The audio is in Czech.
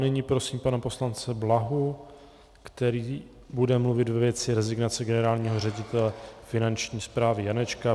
Nyní prosím pana poslance Blahu, který bude mluvit ve věci rezignace generálního ředitele Finanční správy Janečka.